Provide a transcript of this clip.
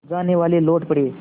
जानेवाले लौट पड़े